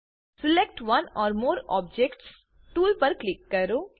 select one or more objects tool પર click કરો